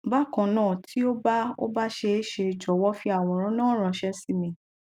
bakanna ti o ba o ba see se jọwọ fi àwòrán náà ranse si mí